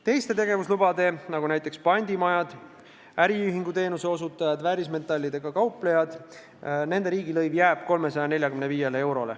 Teiste tegevuslubade puhul, nagu näiteks pandimajad, äriühingu teenuse osutajad, väärismetallidega kauplejad, jääb riigilõivuks 345 eurot.